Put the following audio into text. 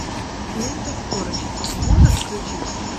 лента скорость можешь включить